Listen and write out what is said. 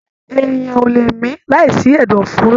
Èèyàn o le mi láì sí ẹdọ fòóro.